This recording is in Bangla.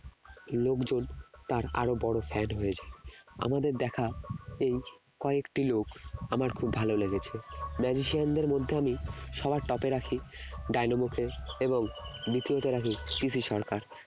লোকজন তার আরো বড় fan হয়ে যায় আমার দেখা এই কয়েকটি লোক আমার খুব ভালো লেগেছে magician দের মধ্যে আমি সবার top এ রাখি ডিনামোকে এবং দ্বিতীয়তে রাখি PC সরকার